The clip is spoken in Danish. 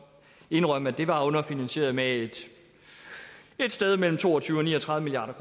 indrømme at det var underfinansieret med et sted mellem to og tyve og ni og tredive milliard